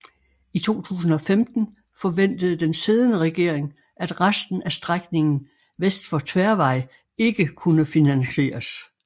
I 2015 forventede den siddende regering at resten af strækningen vest for Tværvej ikke kunne finansieres